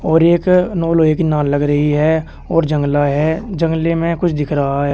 और एक नो लोहे की नाल लग रही है और जंगला है। जंगले में कुछ दिख रहा है।